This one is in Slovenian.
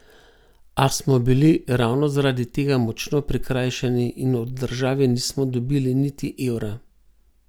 A smo bili ravno zaradi tega močno prikrajšani in od države nismo dobili niti evra.